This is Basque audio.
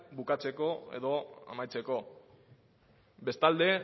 bukatzeko edo amaitzeko bestalde